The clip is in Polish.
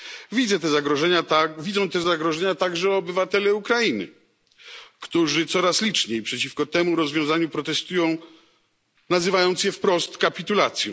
Widzą te zagrożenia także obywatele Ukrainy, którzy coraz liczniej przeciwko temu rozwiązaniu protestują, nazywając je wprost kapitulacją.